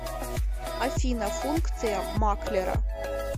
афина функция маклера